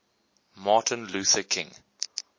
martin luther king